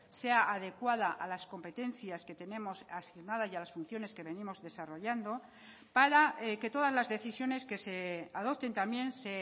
sean adecuada a las competencias que tenemos asignadas y a las funciones que venimos desarrollando para que todas las decisiones que se adopten también se